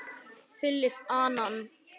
Philip, Allan.